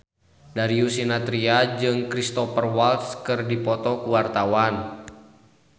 Darius Sinathrya jeung Cristhoper Waltz keur dipoto ku wartawan